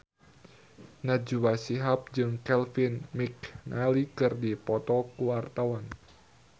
Najwa Shihab jeung Kevin McNally keur dipoto ku wartawan